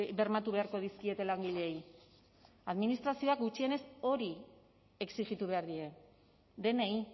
bermatu beharko dizkiete langileei administrazioak gutxienez hori exijitu behar die denei